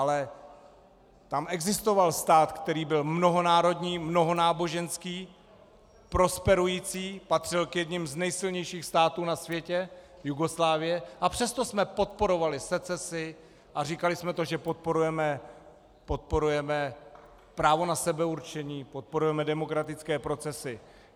Ale tam existoval stát, který byl mnohonárodní, mnohonáboženský, prosperující, patřil k jedněm z nejsilnějších států na světě - Jugoslávie -, a přesto jsme podporovali secesi a říkali jsme to, že podporujeme právo na sebeurčení, podporujeme demokratické procesy.